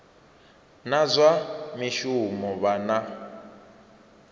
na zwa mishumo vha na